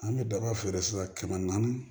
An bɛ daba feere sisan kɛmɛ naani